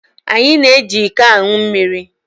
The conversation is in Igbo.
Anyị na-eji iko aṅụ mmiri.